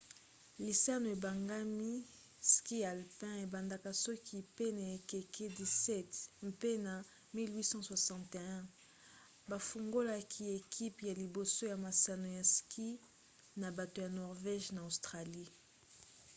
lisano ebengami ski alpin ebanda soki pene ya ekeke 17 mpe na 1861 bafungolaki ekipe ya liboso ya masano ya ski na bato ya norvége na australie